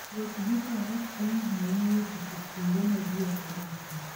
Wuoth gi Faras konyo ahinya e chopo kuonde ma ji ok odakie.